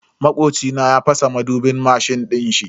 Makoci na ya fasa madubin mashin dinshi.